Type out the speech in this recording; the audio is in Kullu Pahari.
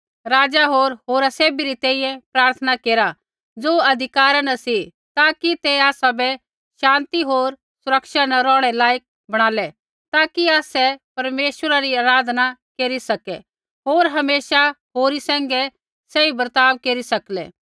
राज़ा होर होरा सैभी री तैंईंयैं प्रार्थना केरा ज़ो अधिकारा न सी ताकि ते आसाबै शान्ति होर सुरक्षा न रौहणै रै लायक बणालै ताकि आसै परमेश्वरा री आराधना केरी सकै होर हमेशा होरी सैंघै सही बर्ताव केरी सकलै